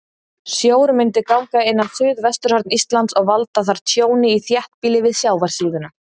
Sjór myndi ganga inn á suðvesturhorn Íslands og valda þar tjóni í þéttbýli við sjávarsíðuna.